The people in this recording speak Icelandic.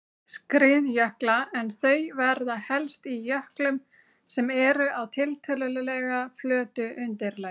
skriðjökla en þau verða helst í jöklum sem eru á tiltölulega flötu undirlagi.